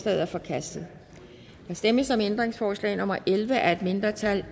er forkastet der stemmes om ændringsforslag nummer elleve af et mindretal